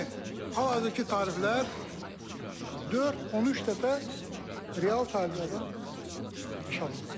Yəni hal-hazırki tariflər 4-13 dəfə real tariflərdən aşağıdır.